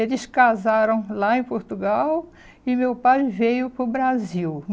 Eles casaram lá em Portugal e meu pai veio para o Brasil.